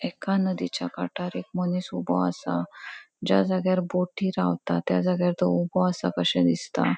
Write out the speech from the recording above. एका नदिच्या काटार एक मनिस ऊबो असा ज्या जाग्यार बोटी रावता त्या जाग्यार तो ऊबो आसा कशे दिसता.